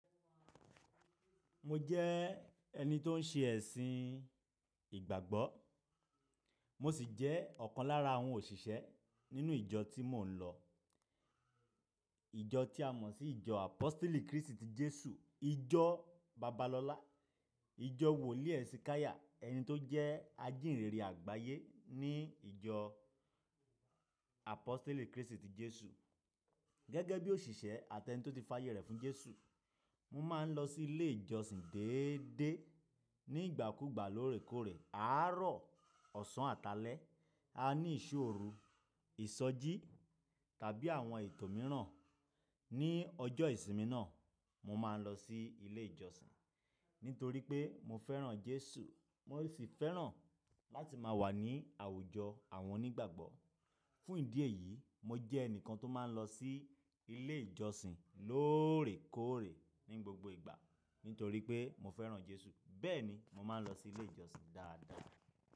Mo jẹ́ ẹni tó ń ṣe ẹ̀sìn ìgbàgbọ́, mo sì jẹ́ ọ̀kan lára àwọn òṣìṣẹ́ nínú ìjọ tí mò ń lọ. Ìjọ tí a mọ̀ sí ìjọ Àpóstélì Krístì ti Jésù, ìjọ Babalọlá, ìjọ Wòlíì Esìkáyà, ẹni tó jẹ́ ajìnrere àgbáyé ní ìjọ Àpóstélì Krístì ti Jésù. Gẹ́gẹ́ bí òṣìṣẹ́ àti ẹni tó ti fà yè rẹ̀ fún Jésù, mo máa ń lọ sí ilé ìjọsìn déédéé ní ìgbà kúùgbà lóòrèkóòrè. Aárọ̀ ọ̀sán àtálẹ, a ní ìṣó oru, ìsọjí tàbí àwọn ètò mìíràn. Ni ọjọ́ ìsinmi náà, mo máa ń lọ sí ilé ìjọsìn. Nítorí pé mo fẹ́ràn Jésù, mo sì fẹ́ràn láti máa wà ní àwùjọ àwọn onígbàgbọ́. Fún ìdí èyí, mo jẹ́ ẹnìkan tó máa ń lọ sí ilé ìjọsìn lóòrèkóòrè ní gbogbo ìgbà. Nítorí pé mo fẹ́ràn Jésù, bẹ́ẹ̀ ni mo máa ń lọ sí ilé ìjọsìn dáadáa.